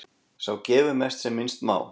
Sá gefur mest sem minnst má.